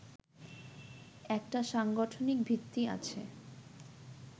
একটা সাংগঠনিক ভিত্তি আছে